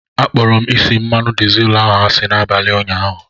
Akpọrọ m isi mmanụ dizel ahụ asị n'abalị ụnyaahụ.